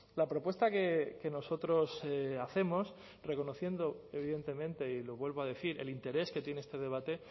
la propuesta que nosotros hacemos reconociendo evidentemente y lo vuelvo a decir el interés que tiene este debate